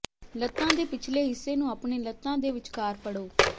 ਲੱਤਾਂ ਦੇ ਪਿਛਲੇ ਹਿੱਸੇ ਨੂੰ ਆਪਣੇ ਲੱਤਾਂ ਦੇ ਵਿਚਕਾਰ ਫੜੋ